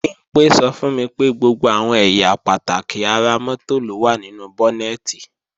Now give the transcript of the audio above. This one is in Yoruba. Bimpé sọ fún mi pé gbogbo àwọn ẹ̀yà pàtàkì ara mọ́tò ló wà nínú bọ́nẹ̀tì